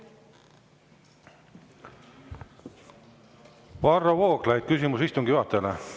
Varro Vooglaid, küsimus istungi juhatajale.